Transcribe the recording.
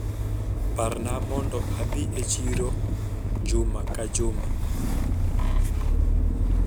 Parna mondo adhi e chirojuma ka juma